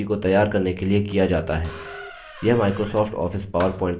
यह microsoft office powerpoint के समतुल्य है